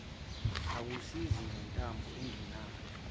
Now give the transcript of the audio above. akusizi nentambo anginayo